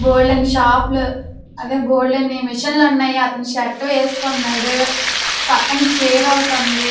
బోల్డన్ని shop లు బోల్డన్ని machine లు ఉన్నాయి అతను షర్ట్ వేసుకున్నాడు పక్కన చైర్ ఒకటి వుంది.